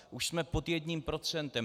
Už jsme pod jedním procentem.